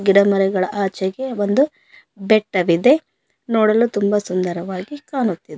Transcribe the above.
ಗಿಡಮರಗಳ ಆಚೆಗೆ ಒಂದು ಬೆಟ್ಟವಿದೆ ನೋಡಲು ತುಂಬಾ ಸುಂದರವಾಗಿ ಕಾಣುತ್ತಿದೆ.